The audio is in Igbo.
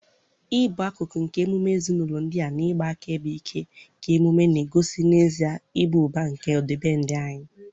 ịbụ akụkụ nke emume ezinụlọ ndị a na ịgba akaebe ike nke emume na-egosi n'ezie ịba ụba nke ọdịbendị anyị.